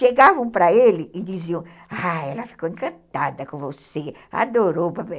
Chegavam para ele e diziam, ah, ela ficou encantada com você, adorou